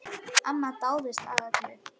Amma dáðist að öllu.